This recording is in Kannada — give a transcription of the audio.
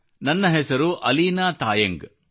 ನನ್ನ ಹೆಸರು ಅಲೀನಾ ತಾಯಂಗ್